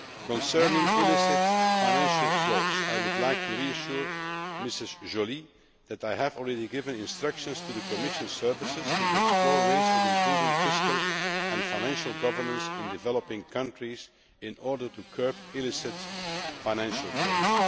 Concerning illicit financial flows, I would like to reassure Mrs Joly that I have already given instructions to the Commission services to explore ways of improving fiscal and financial governance in developing countries in order to curb illicit financial flows.